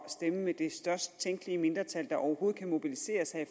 stemme med det størst tænkelige mindretal der overhovedet kan mobiliseres her i